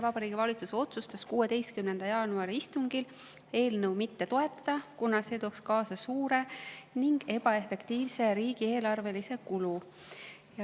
Vabariigi Valitsus otsustas 16. jaanuari istungil eelnõu mitte toetada, kuna see tooks kaasa suure ning ebaefektiivse riigieelarvelise kulu.